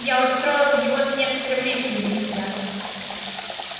я устроил его с некоторым риском для себя